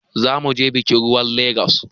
Za mu je bakin ruwan Legas.